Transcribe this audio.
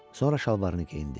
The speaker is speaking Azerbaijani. Sonra şalvarını geyindi.